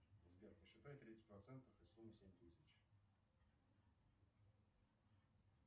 сбер посчитай тридцать процентов из суммы семь тысяч